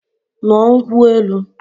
Ṅụọ nkwụ elu!